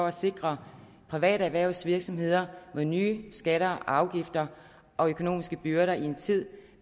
at sikre private erhvervsvirksomheder mod nye skatter og afgifter og økonomiske byrder i en tid